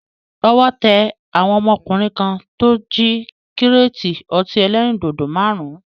Owó tẹ àwọn ọmọkùnrin kan tó jí kíréétì ọtí ẹlẹ́rìndòdò máàrún